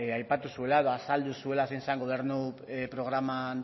aipatu zuela edo azaldu zuela zein zen gobernu programan